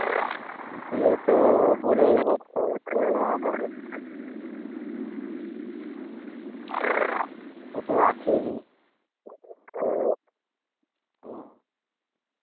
গিয়ে তো ও বলেই দর। ও তো আসেই নি।